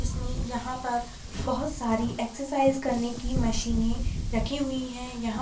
इसमें यहाँ पर बहुत सारी एक्सरसाइज करने की मशीने रखे हुई हैं यहाँ --